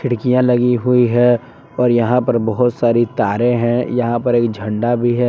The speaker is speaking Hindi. ये लगी हुई है और यहां पर बहुत सारी तारे हैं यहां पर एक झंडा भी है।